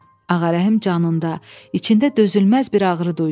Ağarəhim canında, içində dözülməz bir ağrı duydu.